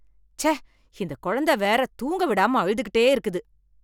ச்சே இந்தக் கொழந்த வேற தூங்க விடாம அழுதுகிட்டே இருக்குது.